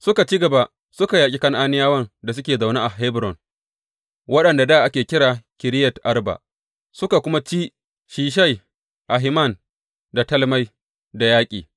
Suka ci gaba suka yaƙi Kan’aniyawan da suke zaune a Hebron wadda dā ake kira Kiriyat Arba suka kuma ci Sheshai, Ahiman da Talmai da yaƙi.